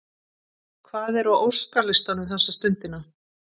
Hvað er á óskalistanum þessa stundina?